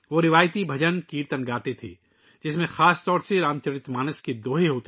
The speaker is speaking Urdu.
وہ روایتی بھجن کیرتن گاتے تھے، خاص طور پر رام چرتر مانس کے دوہے